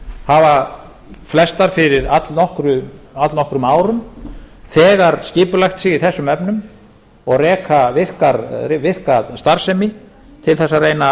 hafa flestar fyrir allnokkrum árum þegar skipulagt sig í þessum efnum og reka virka starfsemi til þess að reyna